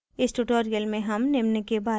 इस tutorial में हम निम्न के बारे में सीखेंगे